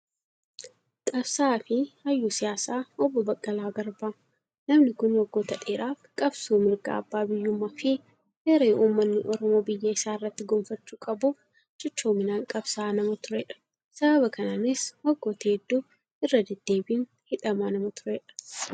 Qabsaa'aa fi hayyuu siyaasaa Obbo Baqqalaa Garbaa. Namni kun waggoota dheeraaf qabsoo mirga abbaa biyyummaa fi hiree uummanni Oromoo biyya isaa irratti gonfachuu qabuuf cichoominaan qabsaa'aa nama turedha. Sababa kanaanis waggoota hedduuf irra deddeebiin hidhamaa nama turedha.